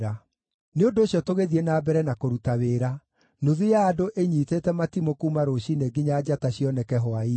Nĩ ũndũ ũcio tũgĩthiĩ na mbere na kũruta wĩra, nuthu ya andũ ĩnyiitĩte matimũ kuuma rũciinĩ nginya njata cioneke hwaĩ-inĩ.